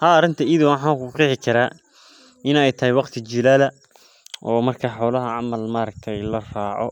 Haa arintan iyada waxan ku qexi karaa in ee jilal noqoto ama ee xolaha wayan meel ee wax ka cunan iyada oo